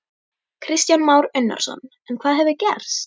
Kristján Már Unnarsson: En hvað hefur gerst?